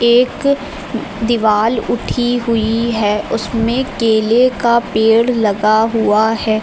एक दीवाल उठी हुई है उसमें केले का पेड़ लगा हुआ है।